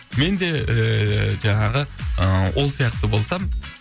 менде ііі жаңағы ы ол сияқты болсам